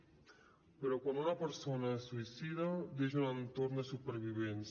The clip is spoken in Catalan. però quan una persona es suïcida deixa un entorn de supervivents